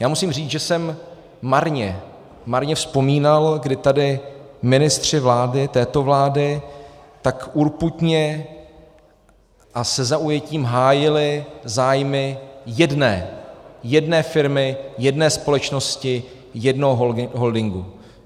Já musím říct, že jsem marně, marně vzpomínal, kdy tady ministři vlády, této vlády, tak urputně a se zaujetím hájili zájmy jedné, jedné firmy, jedné společnosti, jednoho holdingu.